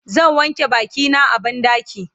zan wanke bakina a banɗaki